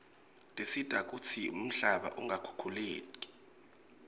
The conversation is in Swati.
tisita kutsi umhlaba ungakhukhuleki